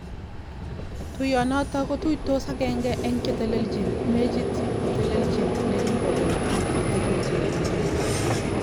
Tuyonoton kotutos agenge eng chetelelchin mechit, netelelchi nekibokeny ak netelechin ikuni.